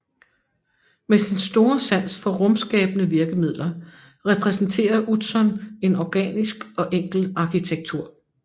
Med sin store sans for rumskabende virkemidler repræsenterer Utzon en organisk og enkel arkitektur